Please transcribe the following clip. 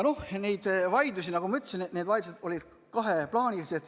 Need vaidlused olid, nagu ma ütlesin, kaheplaanilised.